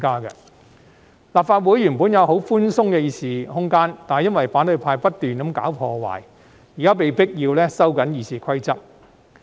立法會原本有很寬鬆的議事空間，但因為反對派不斷搞破壞，現時被迫要收緊《議事規則》。